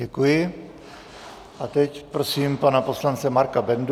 Děkuji a teď prosím pana poslance Marka Bendu.